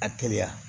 A teliya